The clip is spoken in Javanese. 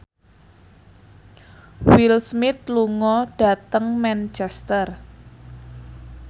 Will Smith lunga dhateng Manchester